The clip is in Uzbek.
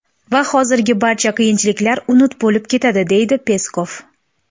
Va hozirgi barcha qiyinchiliklar unut bo‘lib ketadi”, deydi Peskov.